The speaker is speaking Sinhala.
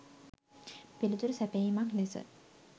පිළිතුරු සැපයීමක් ලෙස